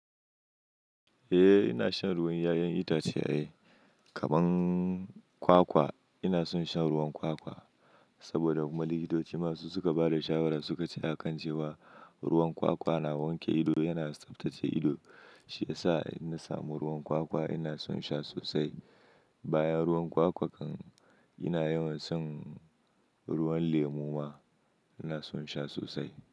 Eh ina shan ruwan 'ya'yan itace eh kaman kwakwa ina son shan ruwan kwakwa saboda kuma likitoci masu suka bada shawara suka ce a kan cewa ruwan kwakwa na wanke ido yana tsaftace ido shiyasa ina samu ruwan kwakwa ina son sha sosai. Bayan ruwan kwakwa kan ina yawan son ruwan lemu ma ina son sha sosai.